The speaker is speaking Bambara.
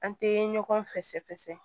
An tɛ ɲɔgɔn fɛsɛfɛsɛ